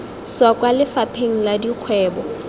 tswa kwa lefapheng la dikgwebo